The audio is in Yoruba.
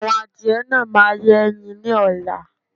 Àwọn adìyẹ náà máa yẹ́ ẹyin ni ọ̀la